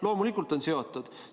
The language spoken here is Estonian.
Loomulikult on seotud!